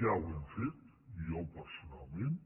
ja ho hem fet i jo personalment